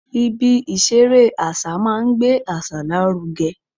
Ibi ìṣeré àṣà máa ń gbé àṣà lárugẹ